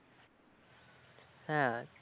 হ্যাঁ